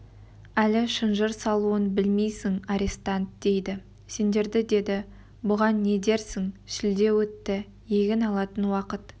әлі шынжыр салуын білмейсің арестант дейді сендерді деді бұған не дерсің шілде өтті егін алатын уақыт